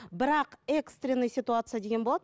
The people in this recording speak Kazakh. бірақ экстренная ситуация деген болады